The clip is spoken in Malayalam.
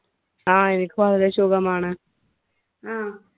ആ എനിക്ക് വളരെ സുഖമാണ്.